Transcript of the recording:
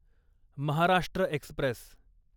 Maharashtra Express